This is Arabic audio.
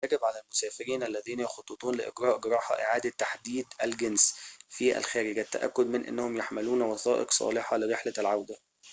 يجب على المسافرين الذين يخططون لإجراء جراحة إعادة تحديد الجنس في الخارج التأكّد من أنهم يحملون وثائق صالحة لرحلة العودة